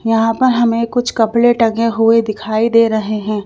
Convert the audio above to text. यहां पर हमें कुछ कपड़े टंगे हुए दिखाई दे रहे हैं।